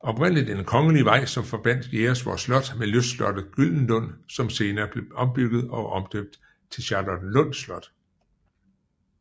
Oprindeligt en kongelig vej som forbandt Jægersborg Slot med lystslottet Gyldenlund som blev senere ombygget og omdøbt til Charlottenlund Slot